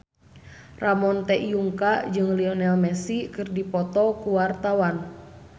Ramon T. Yungka jeung Lionel Messi keur dipoto ku wartawan